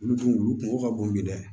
Olu dun olu kungo ka bon bi dɛ